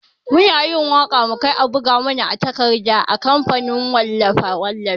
Muna yin waka mukai a buga mana a takarda a kamfanin wallafe-wallafe.